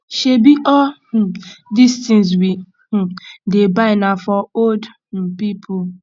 shebi all um dis tins we um dey buy na for old um people